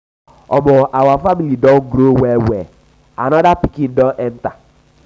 omo our family don grow well-well anoda pikin don enta.